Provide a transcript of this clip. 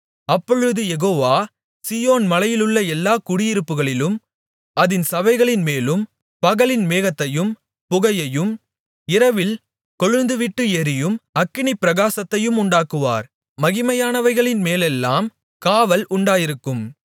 அப்பொழுது யெகோவா சீயோன் மலையிலுள்ள எல்லா குடியிருப்புகளிலும் அதின் சபைகளின்மேலும் பகலில் மேகத்தையும் புகையையும் இரவில் கொழுந்துவிட்டு எரியும் அக்கினிப்பிரகாசத்தையும் உண்டாக்குவார் மகிமையானவைகளின் மேலெல்லாம் காவல் உண்டாயிருக்கும்